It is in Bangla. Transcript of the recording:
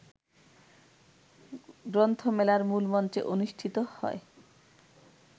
গ্রন্থমেলার মূলমঞ্চে অনুষ্ঠিত হয়